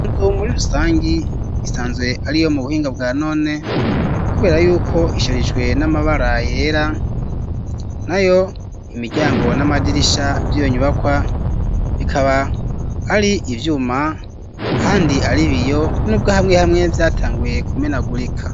Inzu muri rusangi isanzwe ariyo mu buhinga bwa none kubera yuko isharijwe n'amabara yera nayo imiryango n'amadirisha vyiyo nyubakwa bikaba ari ivyuma ahandi aribiyo nubwo hamwe hamwe vyatanguye ku menagurika.